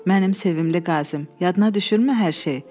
Mənim sevimli qazım, yadına düşürmü hər şey?